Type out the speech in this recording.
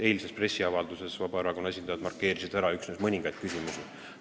Eilses pressiavalduses markeerisid Vabaerakonna esindajad ära üksnes mõningad küsimused.